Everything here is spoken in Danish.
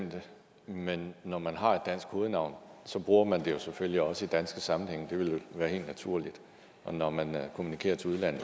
det men når man har et dansk hovednavn bruger man det selvfølgelig også i danske sammenhænge det ville være helt naturligt og når man kommunikerer til udlandet